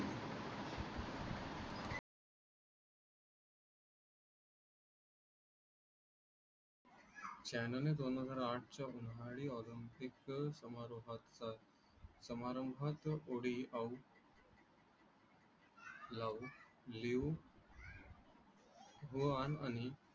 चायनाने दोन हजार आठच्या उन्हाळी ऑलिम्पिक समारंभाच्या वेळी ओडीआट जानु लिहू वन व आणि